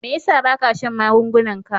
Me yasa ba ka shan magungunan ka?